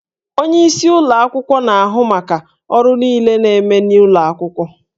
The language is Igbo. Onyeisi ụlọ akwụkwọ na-ahụ maka ọrụ niile na-eme n'ụlọ akwụkwọ